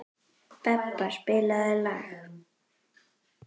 Bebba, spilaðu lag.